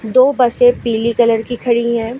दो बसें पीली कलर की खड़ी हैं।